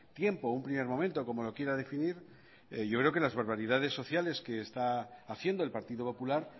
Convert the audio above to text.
tiempo o un primer momento como lo quiera definir yo creo que las barbaridades sociales que está haciendo el partido popular